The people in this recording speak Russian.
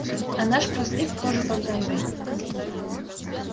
а наш проспект тоже под ганзой